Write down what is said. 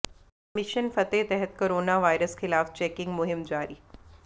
mission Fateh ਤਹਿਤ corona virus ਖ਼ਿਲਾਫ਼ checking ਮੁਹਿੰਮ ਜਾਰੀ